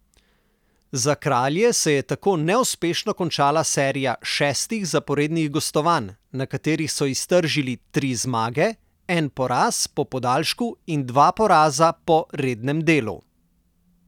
Za Kralje se je tako neuspešno končala serija šestih zaporednih gostovanj, na katerih so iztržili tri zmage, en poraz po podaljšku in dva poraza po rednem delu.